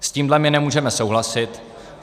S tímhle my nemůžeme souhlasit.